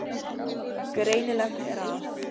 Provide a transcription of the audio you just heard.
Greinilegt er að